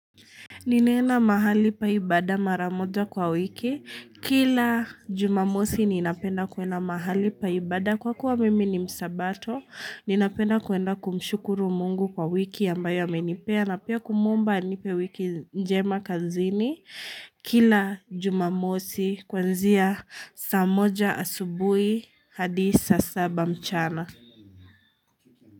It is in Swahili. Ninaenda mahali pa ibada maramoja kwa wiki, kila jumamosi ninapenda kuenda mahali pa ibada kwa kuwa mimi ni msabato, ninapenda kuenda kumshukuru mungu kwa wiki ambayo amenipea na pia kumuomba anipe wiki njema kazini kila jumamosi kwanzia saa moja asubui hadi saa saba mchana.